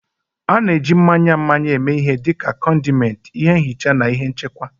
A na-eji mmanya mmanya eme ihe dị ka condiment, ihe nhicha na ihe nchekwa.